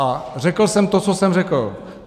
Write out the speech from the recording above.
A řekl jsem to, co jsem řekl.